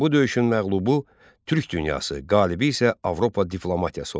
Bu döyüşün məğlubu türk dünyası, qalibi isə Avropa diplomatiyası oldu.